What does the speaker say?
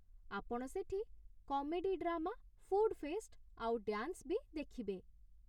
ଆପଣ ସେଠି comedy drama, food fest ଆଉ ଡ୍ୟାନ୍ସ ବି ଦେଖିବେ ।